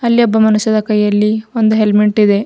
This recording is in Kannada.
ಅಲ್ಲಿ ಒಬ್ಬ ಮನುಷ್ಯದ ಕೈಯಲ್ಲಿ ಒಂದು ಹೆಲ್ಮೆಟ್ ಇದೆ.